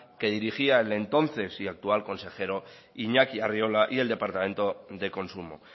que dirigía el entonces y actual consejero iñaki arriola y el departamento de consumo